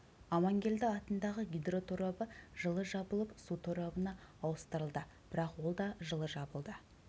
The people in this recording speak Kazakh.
аманкелді атындағы гидроторабы жылы жабылып су торабына ауыстырылды бірақ ол да жылы жабылды